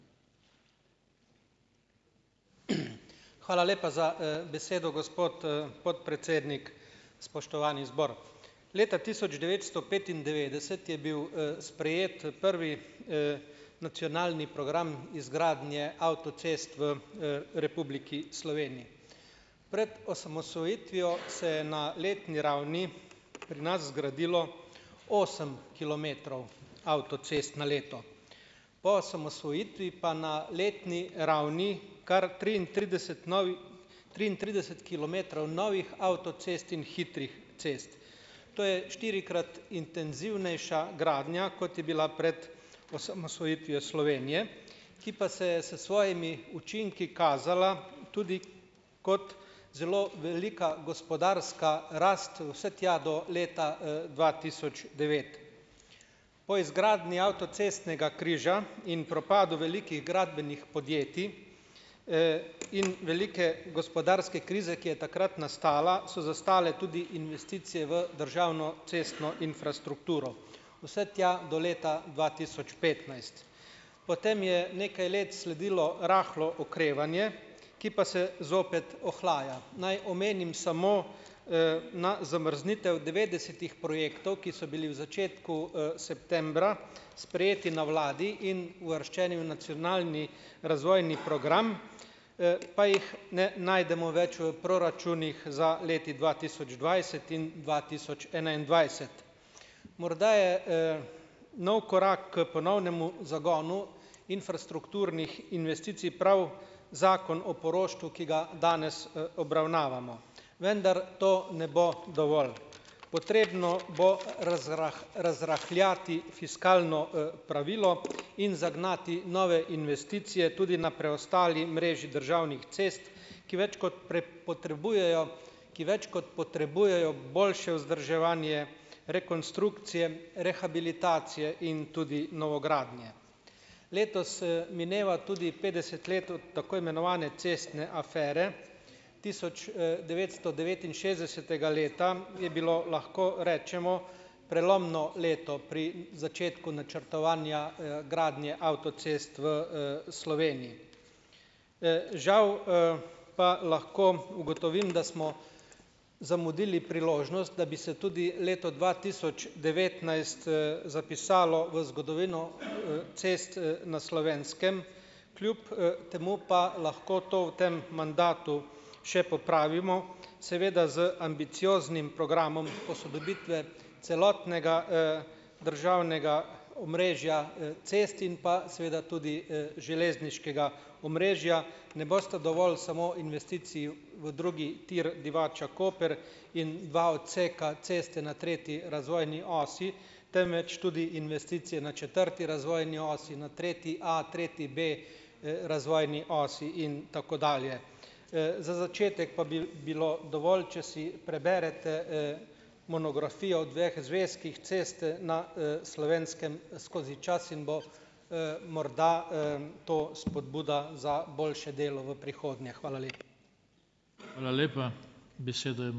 Hvala lepa za, besedo, gospod, podpredsednik. Spoštovani zbor! Leta tisoč devetsto petindevetdeset je bil, sprejet, prvi, nacionalni program izgradnje avtocest v, Republiki Sloveniji. Pred osamosvojitvijo se je na letni ravni pri nas zgradilo osem kilometrov avtocest na leto. Po osamosvojitvi pa na letni ravni kar triintrideset novih, triintrideset kilometrov novih avtocest in hitrih cest. To je štirikrat intenzivnejša gradnja, kot je bila pred osamosvojitvijo Slovenije, ki pa se je s svojimi učinki kazala tudi kot zelo velika gospodarska rast vse tja do leta, dva tisoč devet. Po izgradnji avtocestnega križa in propadu velikih gradbenih podjetij, in velike gospodarske krize, ki je takrat nastala, so zastale tudi investicije v državno cestno infrastrukturo. Vse tja do leta dva tisoč petnajst. Potem je nekaj let sledilo rahlo okrevanje, ki pa se zopet ohlaja. Naj omenim samo, na zamrznitev devetdesetih projektov, ki so bili v začetku, septembra sprejeti na vladi in uvrščeni v nacionalni razvojni program, pa jih ne najdemo več v proračunih za leti dva tisoč dvajset in dva tisoč enaindvajset. Morda je, nov korak k ponovnemu zagonu infrastrukturnih investicij prav zakon o poroštvu, ki ga danes, obravnavamo, vendar to ne bo dovolj. Potrebno bo razrahljati fiskalno, pravilo in zagnati nove investicije tudi na preostali mreži državnih cest, ki več kot potrebujejo, ki več kot potrebujejo boljše vzdrževanje, rekonstrukcije, rehabilitacije in tudi novogradnje. Letos, mineva tudi petdeset let od tako imenovane cestne afere, tisoč, devetsto devetinšestdesetega leta je bilo, lahko rečemo, prelomno leto pri začetku načrtovanja, gradnje avtocest v, Sloveniji. Žal, pa lahko ugotovim, da smo zamudili priložnost, da bi se tudi leto dva tisoč devetnajst, zapisalo v zgodovino, cest, na Slovenskem, kljub, temu pa lahko to v tem mandatu še popravimo, seveda z ambicioznim programom posodobitve celotnega, državnega omrežja, cest in pa seveda tudi, železniškega omrežja. Ne bosta dovolj samo investiciji v drugi tir Divača-Koper in dva odseka ceste na tretji razvojni osi, temveč tudi investicije na četrti razvojni osi, na tretji A, tretji B razvojni osi in tako dalje. Za začetek pa bi bilo dovolj, če si preberete, monografijo v dveh zvezkih Ceste, na, Slovenskem skozi čas in bo, morda, to spodbuda za boljše delo v prihodnje. Hvala